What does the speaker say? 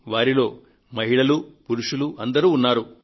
వారిలో మహిళలు పురుషులు అందరూ ఉన్నారు